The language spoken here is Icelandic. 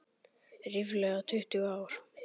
Ríflega tuttugu ár.